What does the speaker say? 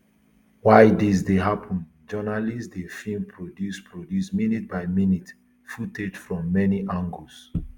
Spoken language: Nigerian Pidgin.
while dis dey happun journalists dey film produce produce minute by minute footage from many angles